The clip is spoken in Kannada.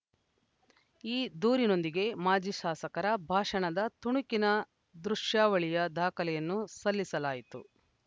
ಈ ದೂರಿನೊಂದಿಗೆ ಮಾಜಿ ಶಾಸಕರ ಭಾಷಣದ ತುಣುಕಿನ ದೃಶ್ಯಾವಳಿಯ ದಾಖಲೆಯನ್ನೂ ಸಲ್ಲಿಸಲಾಯಿತು